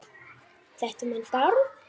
Þetta um hann Bárð?